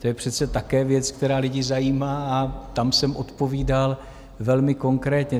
To je přece také věc, která lidi zajímá, a tam jsem odpovídal velmi konkrétně.